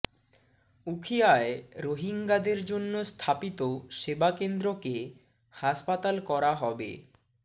উখিয়ায় রোহিঙ্গাদের জন্য স্থাপিত সেবা কেন্দ্রকে হাসপাতাল করা হবে